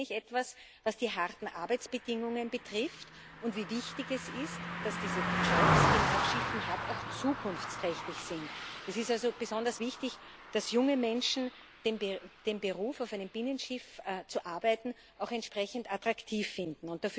kenne ich mich etwas aus, was die harten Arbeitsbedingungen betrifft und wie wichtig es ist, dass diese Jobs, die man auf Schiffen hat, auch zukunftsträchtig sind. Es ist also besonders wichtig, dass junge Menschen den Beruf, auf einem Binnenschiff zu arbeiten, auch entsprechend attraktiv finden.